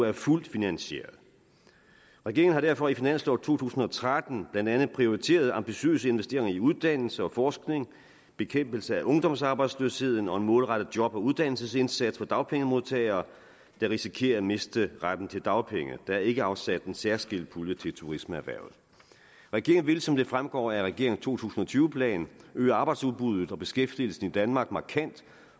er fuldt finansieret regeringen har derfor i finansloven for to tusind og tretten blandt andet prioriteret ambitiøse investeringer i uddannelse og forskning bekæmpelse af ungdomsarbejdsløsheden og prioriteret en målrettet job og uddannelsesindsats for dagpengemodtagere der risikerer at miste retten til dagpenge der er ikke afsat en særskilt pulje til turismeerhvervet regeringen vil som det fremgår af regeringens to tusind og tyve plan øge arbejdsudbuddet og beskæftigelsen i danmark markant